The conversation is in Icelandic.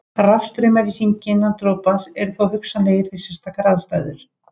Rafstraumar í hringi innan dropans eru líka hugsanlegir við sérstakar aðstæður.